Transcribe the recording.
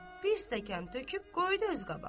Bir stəkan töküb qoydu öz qabağına.